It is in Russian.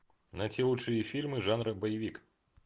найти лучшие фильмы жанра боевик